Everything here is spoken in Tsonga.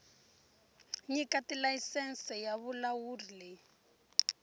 nyika tilayisense ya vulawuli yi